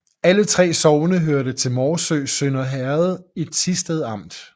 Alle 3 sogne hørte til Morsø Sønder Herred i Thisted Amt